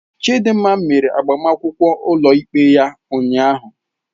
Chidinma mere agbamakwụkwọ ụlọikpe ya ụnyahụ.